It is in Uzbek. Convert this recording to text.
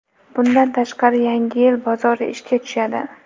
Bundan tashqari, Yangi yil bozori ishga tushadi.